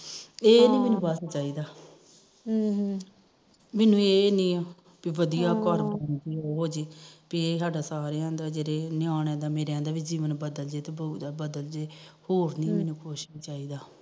ਇਹ ਨੀ ਬਸ ਚਾਹੀਦਾ ਹਮ ਹਮ ਮੈਨੂੰ ਇਹ ਨੀ ਕਿ ਵਧੀਆਂ ਘਰ ਬਣਜੇ ਪੀ ਇਹ ਸਾਡਾ ਸਾਰਿਆਂ ਦਾ ਮੇਰੇ ਨਿਆਣਿਆਂ ਦਾ ਜੀਵਨ ਪੱਧਰ ਬਦਲ ਜੇ ਹੋਰ ਨੀ ਮੈਨੂੰ ਕੁਛ ਚਾਹੀਦਾ